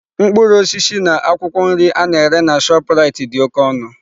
Mkpụrụ osisi na akwụkwọ nri a na-ere na Shoprite dị oke ọnụ.